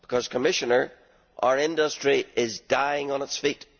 Because, Commissioner, our industry is dying on its feet.